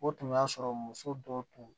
O tun y'a sɔrɔ muso dɔw tun